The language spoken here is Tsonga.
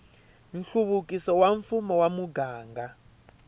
nhluvukiso wa mfumo wa muganga